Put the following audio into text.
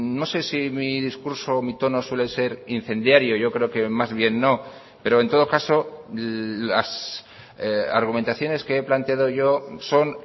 no sé si mi discurso o mi tono suele ser incendiario yo creo que más bien no pero en todo caso las argumentaciones que he planteado yo son